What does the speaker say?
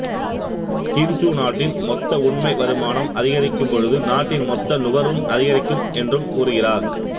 கீன்சு நாட்டின் மொத்த உண்மை வருமானம் அதிகரிக்கும் பொழுது நாட்டின் மொத்த நுகர்வும் அதிகரிக்கும் என்றும் கூறுகிறார்